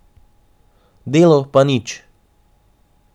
Delo pa nič!